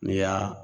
N'i y'a